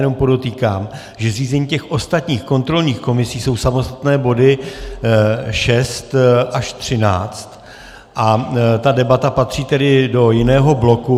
Jenom podotýkám, že zřízení těch ostatních kontrolních komisí jsou samostatné body 6 až 13 a ta debata patří tedy do jiného bloku.